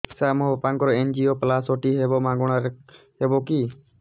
ସାର ମୋର ବାପାଙ୍କର ଏନଜିଓପ୍ଳାସଟି ହେବ ମାଗଣା ରେ ହେବ କି